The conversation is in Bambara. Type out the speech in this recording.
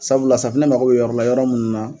Sabula safunɛ mako be yɔrɔla yɔrɔ munnu na.